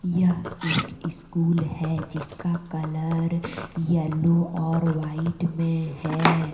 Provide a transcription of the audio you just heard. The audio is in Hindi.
यह एक स्कूल है जिसका कलर यलो और वाइट मे है।